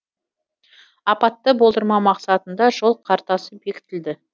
апатты болдырмау мақсатында жол картасы бекітілді